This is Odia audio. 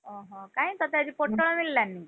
ଓହୋ କାଇଁ ତତେ ଆଜି ପୋଟଳ ମିଳିଲାନି କି?